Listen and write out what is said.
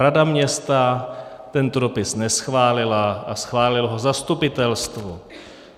Rada města tento dopis neschválila a schválilo ho zastupitelstvo.